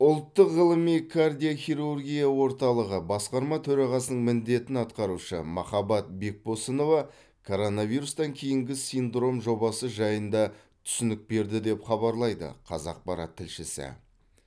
ұлттық ғылыми кардиохирургия орталығы басқарма төрағасының міндетін атқарушы махаббат бекбосынова коронавирустан кейінгі синдром жобасы жайында түсінік берді деп хабарлайды қазақпарат тілшісі